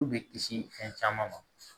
U bɛ kisi fɛn caman ma